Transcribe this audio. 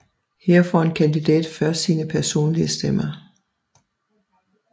Her får en kandidat først sine personlige stemmer